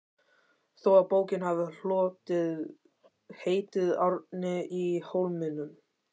þó að bókin hafi hlotið heitið Árni í Hólminum.